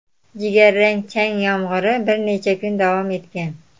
Jigarrang chang yomg‘iri bir necha kun davom etgan.